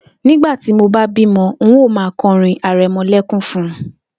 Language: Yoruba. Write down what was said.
Nígbà tí mo bá bímo̩, n óò máa ko̩rín are̩mo̩lé̩kún fun